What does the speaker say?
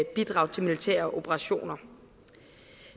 bidrag til militære operationer